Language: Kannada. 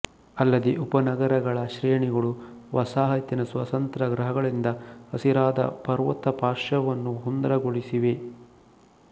ಅಲ್ಲದೇ ಉಪನಗರಗಳ ಶ್ರೇಣಿಗಳು ವಸಾಹತಿನ ಸ್ವತಂತ್ರ ಗೃಹಗಳಿಂದ ಹಸಿರಾದ ಪರ್ವತಪಾರ್ಶ್ವವನ್ನು ಸುಂದರಗೊಳಿಸಿವೆ